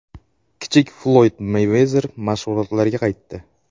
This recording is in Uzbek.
Kichik Floyd Meyvezer mashg‘ulotlarga qaytdi.